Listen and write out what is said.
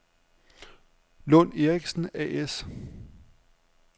Lund & Erichsen A/S